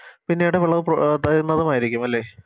പിന്നീട് വിളവ് പുറ തരുന്നതുമായിരിക്കും അല്ലെ